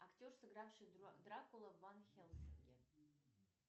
актер сыгравший дракулу в ван хельсинге